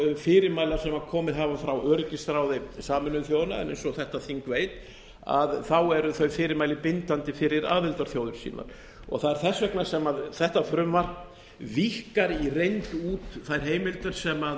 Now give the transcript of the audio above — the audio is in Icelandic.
fyrirmæla sem komið hafa frá öryggisráði sameinuðu þjóðanna en eins og þetta þing veit eru þau fyrirmæli bindandi fyrir aðildarþjóðir sínar það er þess vegna sem þetta frumvarp víkkar í reynd út þær heimildir sem